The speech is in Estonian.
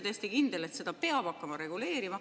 Täiesti kindel, et seda peab hakkama reguleerima.